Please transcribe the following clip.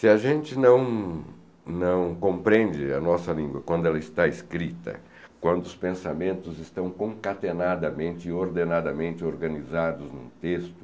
Se a gente não não compreende a nossa língua quando ela está escrita, quando os pensamentos estão concatenadamente e ordenadamente organizados em um texto,